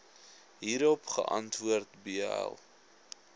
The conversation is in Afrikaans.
hierop geantwoord bl